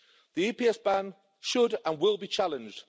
The EPS ban should, and will, be challenged.